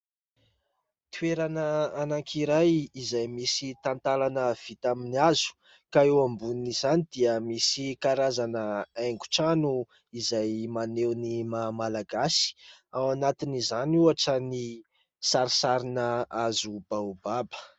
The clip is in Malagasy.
Toerana anankiray izay misy tantalana vita amin'ny hazo ka eo ambonin'izany dia misy karazana haingotrano izay maneho ny maha-malagasy, ao anatin'izany ohatra ny sarisarina hazo baobaba.